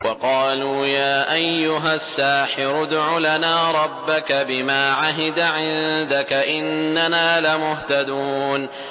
وَقَالُوا يَا أَيُّهَ السَّاحِرُ ادْعُ لَنَا رَبَّكَ بِمَا عَهِدَ عِندَكَ إِنَّنَا لَمُهْتَدُونَ